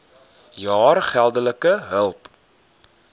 jaar geldelike hulp